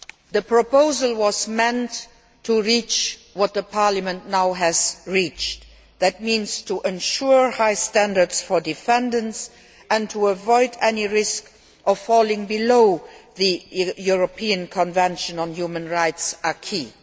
The proposal was meant to reach what Parliament has now reached, namely to ensure high standards for defendants and to avoid any risk of falling below the European Convention on Human Rights acquis